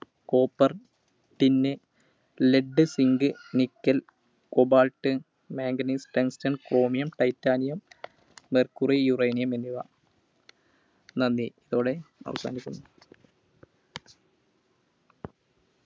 Copper, Tin, Lead, Zinc, Nickel, Cobalt, Manganese, Tungsten, Chromium, Titanium, Mercury, Uranium എന്നിവ നന്ദി. ഇതോടെ അവസാനിക്കുന്നു.